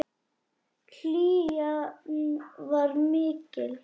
Hlýjan var mikil.